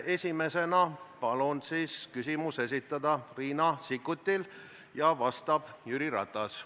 Esimesena palun küsimus esitada Riina Sikkutil, vastab Jüri Ratas.